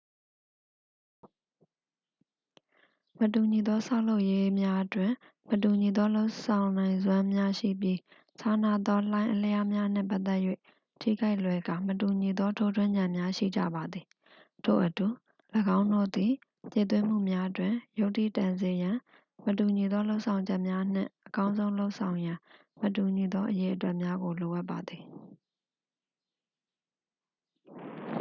"""မတူညီသောဆောက်လုပ်ရေးများတွင် မတူညီသောလုပ်နိုင်စွမ်းများရှိပြီးခြားနားသောလှိုင်းအလျားများနှင့်ပတ်သက်၍ ထိခိုက်လွယ်ကာ မတူညီသောထိုးထွင်းဉာဏ်များရှိကြပါသည်၊ ထို့အတူ ၎င်းတို့သည် ဖြည့်သွင်းမှုများတွင် ယုတ္ထိတန်စေရန် မတူညီသောလုပ်ဆောင်ချက်များနှင့် အကောင်းဆုံးလုပ်ဆောင်ရန် မတူညီသောအရေအတွက်များကို လိုအပ်ပါသည်။""